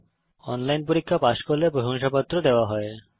যারা অনলাইন পরীক্ষা পাস করে তাদের প্রশংসাপত্র দেওয়া হয়